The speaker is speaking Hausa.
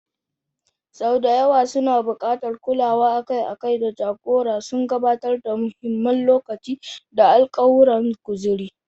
Sau da yawa suna buƙatar kulawa akai-akai da jagora, suna gabatar da muhimmin lokaci da alkawuran kuzari.